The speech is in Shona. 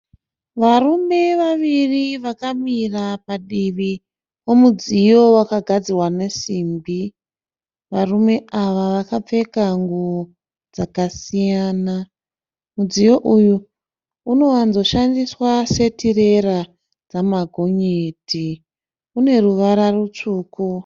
Varume vaviri vakamira padivi pomudziyo wakagadzirwa nesimbi. Varume ava vakapfeka nguwo dzakasiyana. Mudziyo uyu unowanzo shandiswa setirera remagonyeti. Mudziyo uyu une ruvara rutsvuku.